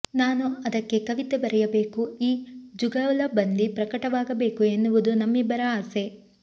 ನಾನು ಅದಕ್ಕೆ ಕವಿತೆ ಬರೆಯಬೇಕು ಈ ಜುಗಲಬಂದಿ ಪ್ರಕಟವಾಗಬೇಕು ಎನ್ನುವುದು ನಮ್ಮಿಬ್ಬರ ಆಸೆ